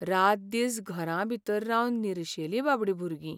रातदीस घरांभीतर रावन निर्शेलीं बाबडीं भुरगीं.